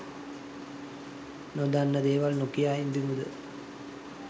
නොදන්න දේවල් නොකියා ඉඳිමුද?